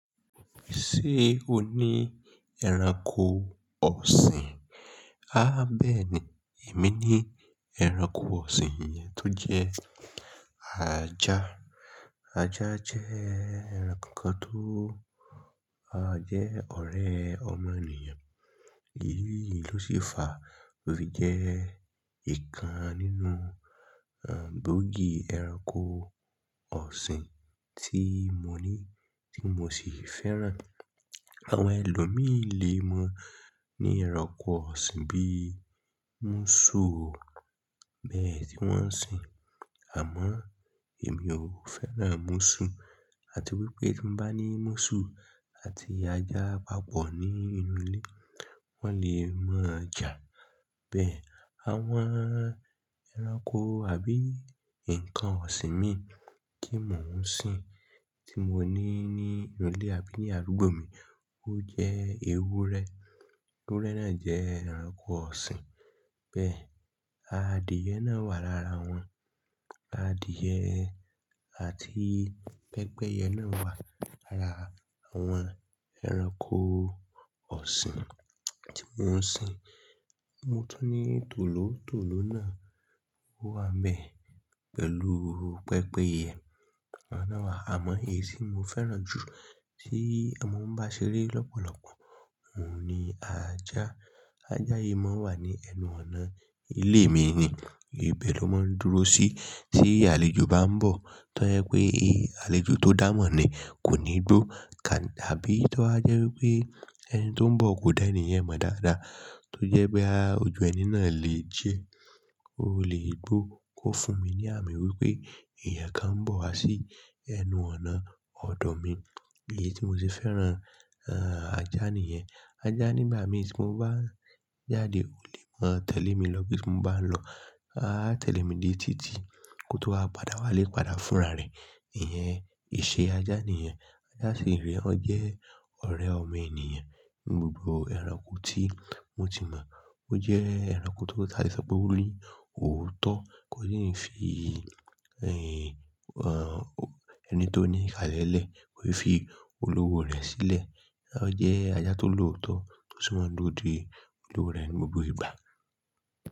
Ṣé o ní ẹranko ọ̀sìn? Há bẹ́ẹ̀ni, èmi ní ẹranko ọ̀sìn yẹn tó jẹ́ ajá. Ajá jẹ́ ẹranko kan tó a jẹ́ ọ̀rẹ́ ọmọ ènìyàn. Èyí ló si fà tó fi jẹ́ ìkan nínú gboògì ẹranko ọ̀sìn tí mo ní, tí mo sì fẹ́ràn. Àwọn ẹlòmíì lé mọ ní ẹranko ọ̀sìn bí múṣù o, bẹ́ẹ̀ tí wọ́n ń sìn. Àmọ́ èmi ò fẹ́ràn múṣù àti wípé tí mo bá ní múṣù àti ajá papọ̀ ní inú ilé, wọ́n lè máa jà. Bẹ́ẹ̀ àwọn ẹranko àbí nǹkan ọ̀sìn mi tí mò ń sìn tí mo ní ní inú ilé àbí ní alugbò mi ó jẹ́ ewúrẹ́. Ewúrẹ́ náà jẹ́ ẹranko ọ̀sìn. Bẹ́ẹ̀ adìẹ náà wà lára wọn. Adìẹ àti pẹ́pẹ́yẹ náà wà lára àwọn ẹranko ọ̀sìn tí mò ń sìn. Mo tún ní tòlótòló náà ó wà bẹ́ẹ̀ pẹ̀lú pẹ́pẹ́yẹ. Awọ́n náà wà, àmọ́ èyí tí mo fẹ́ràn jù tí mo ń bá ṣeré lọ́pọ̀lọpọ̀, òun ni ajá. Ajá yìí máa ń wà ní ẹnu ọ̀nà ilé mi ni. Ibe ni ó máa ń dúró sí tí àlejò bá ń bọ̀. Tọ́ je pé àlejò tó dà mọ́ ni kò ní gbó ká bí tọ́ ba jẹ́ wípé ẹni tó ń bọ̀ kò dá ènìyàn mọ̀ dáadáa tó jẹ́ pé a ojú ẹni náà lè diẹ́, ó lè gbó. Ó fún mi ní àmì wípé ẹ̀yàn kan ń bọ̀ wá sí ẹnu ọ̀nà ọ̀dọ̀ mi. Èyí tí mo ti fẹ́ràn ajá nìyẹn. Ajá nígbà mì tí mo bá jáde, ó lè máa tẹ̀lé mi lọ bí mo bá ń lọ. A tẹ̀lé mi dé títí kó tó wá padà wá lé padà fúnra rẹ̀. Ìyẹn ìṣe ajá nìyẹn. Ajá sì re, ọ jẹ́ ọ̀rẹ́ ọmọ ènìyàn. Gbogbo ẹranko tí mo ti mọ̀, ó jẹ́ ẹranko tó, ta lè so pé ó ní òótọ́, kò ní fi ẹyin ẹni tó ní ìhàlẹ̀ lẹ̀, kò fi olúwo rẹ̀ sílẹ̀. Ó jẹ́ ajá tó lóòótọ́ tó sì máa ń dóde olúwo rẹ̀ ni gbogbo ìgbà.